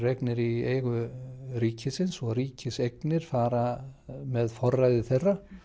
í eigu ríkisins og ríkiseignir fara með forræði þeirra